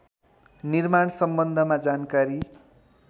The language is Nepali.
निर्माण सम्बन्धमा जानकारी